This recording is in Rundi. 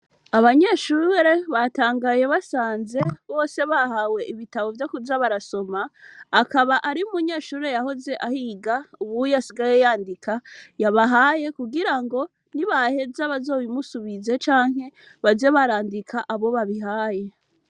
Abanyeshure batangaye basanze bose bahawe ibitabo vyo kuza barasoma akaba ari umunyeshure yahoze ahiga ubunye asigaye yandika yabahaye kugira ngo nibaheza bazobimusubize canke baze barandika abo babihaye.